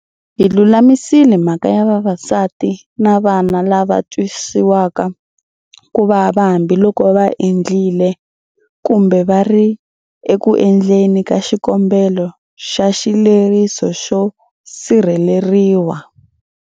Hi lulamisile mhaka ya vavasati na vana lava twisiwaka ku vava hambiloko va endlile, kumbe va ri eku endleni ka xikombelo xa xileriso xo sirheleriwa.